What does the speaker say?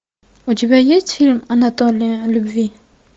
у тебя есть фильм анатомия любви